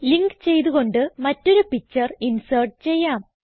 link ചെയ്ത് കൊണ്ട് മറ്റൊരു പിക്ചർ ഇൻസേർട്ട് ചെയ്യാം